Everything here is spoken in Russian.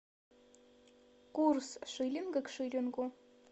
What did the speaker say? курс шиллинга к шиллингу